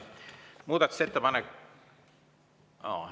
Muudatusettepanek …